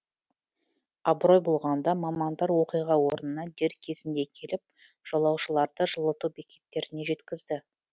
абырой болғанда мамандар оқиға орнына дер кезінде келіп жолаушыларды жылыту бекеттеріне жеткізді